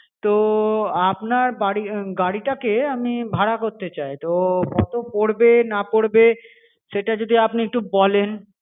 তো আপনার বাড়ি উম গাড়িটাকে আমি ভাড়া করতে চাই তো কত পরবে না পড়বে সেটা যদি আপনি একটু বলেন.